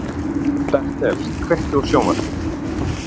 Bertel, kveiktu á sjónvarpinu.